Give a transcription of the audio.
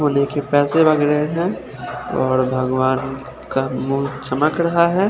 और भगवान का मुंह चमक रहा है।